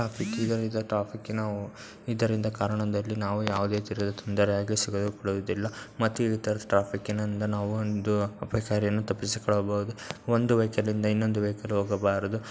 Traffic ಇದರಿಂದ ಟ್ರಾಫಿ ಕ್ಕಿನ ಇದರಿಂದ ಕಾರಣದಲ್ಲಿ ನಾವು ಯಾವುದೇ ಮತ್ತೆ ಈತರ ಟ್ರಾಫಿಕ್ಕಿನಿಂದಲೂ ಒಂದು ತಪ್ಪಿಸಿಕೊಳ್ಳಬಹುದು. ಒಂದು ವೆಹಿಕಲ್ ಹಿಂದ ಇನ್ನೊಂದು ವೆಹಿಕಲ್ ಹೋಗಬಾರದು.